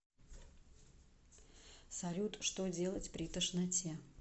салют что делать при тошноте